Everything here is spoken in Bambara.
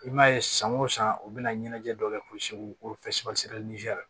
I m'a ye san o san u bɛna ɲɛnajɛ dɔ kɛ k'u seko k'o